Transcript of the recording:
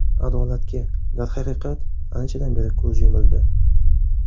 Adolatga, darhaqiqat, anchadan beri ko‘z yumildi.